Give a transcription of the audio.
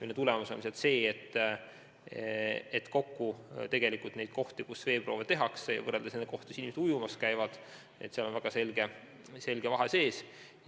Tagajärg on see, et kui võrrelda nende kohtade arvu, kus veeproove tehakse, nende kohtade arvuga, kus inimesed ilma selleta ujumas käivad, siis on väga selge vahe sees.